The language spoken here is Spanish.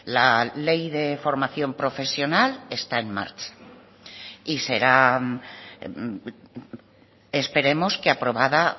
la ley de formación profesional está en marcha y será esperemos que aprobada